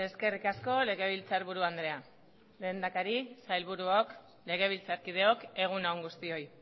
eskerrik asko legebiltzarburu andrea lehendakari sailburuok legebiltzarkideok egun on guztioi